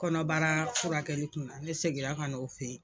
Kɔnɔbara furakɛli kunna ne seginna ka na o fɛ ye.